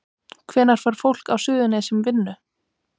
Hvenær fær fólk á Suðurnesjum vinnu?